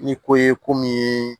Ni ko ye ko min ye